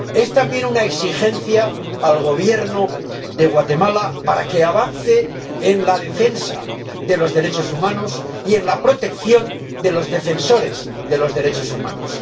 Es también una exigencia al Gobierno de Guatemala para que avance en la defensa de los derechos humanos y en la protección de los defensores de los derechos humanos.